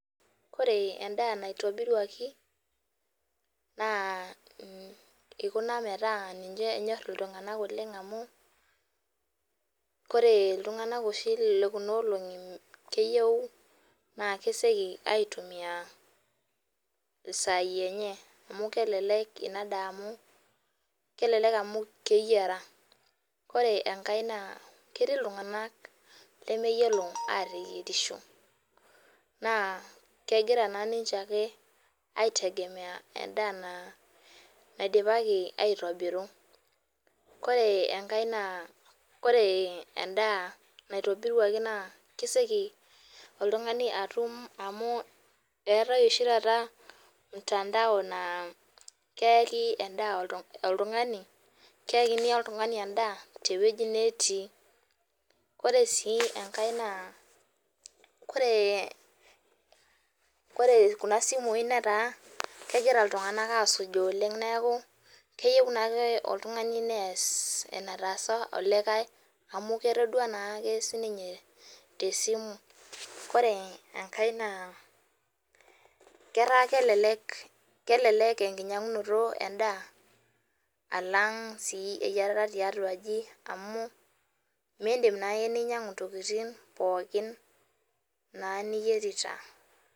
Ore endaa naitobiruaki naa ikuna peyie ninche enyor iltunganak oleng amu ore iltunganak oshi lekuna olongi naa keyieu naa kesioki aitumia isai enye amu kelelek inadaa amu , kelelek amu keyiera. Ore enkae naa ketii iltunganak lemeyiolo ateyierisho naa kegira naa ninche ake aitegemea endaa naa naidipaki aitobiru. Ore enkae naa ore endaa ore endaa naitobiruaki naa kesioki oltungani atum amu eetae oshi taata mtandao naa keyaki endaa oltungani tenwuei netii. Ore sii enkae naa ,ore kuna simui netaa kegira iltunganak asujaa oleng neaku , keyieu naake oltungani nees enetaasa olikae amu ketodua naake sininye tesimu .Ore enkae naa ketaa kelelek enkinyangunoto endaa alang eyiarata endaa tiatua aji amu mindim naake ninyiangu ntokitin pookin naake niyierita .